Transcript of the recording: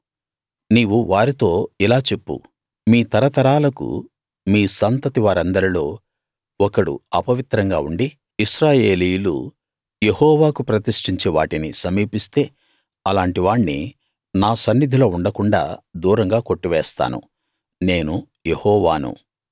నీవు వారితో ఇలా చెప్పు మీ తరతరాలకు మీ సంతతి వారందరిలో ఒకడు అపవిత్రంగా ఉండి ఇశ్రాయేలీయులు యెహోవాకు ప్రతిష్ఠించే వాటిని సమీపిస్తే అలాంటి వాణ్ణి నా సన్నిధిలో ఉండకుండాా దూరంగా కొట్టివేస్తాను నేను యెహోవాను